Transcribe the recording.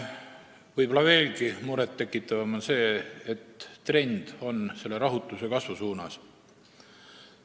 Võib-olla veelgi murettekitavam on see, et trend on selle rahutuse kasvu suunas.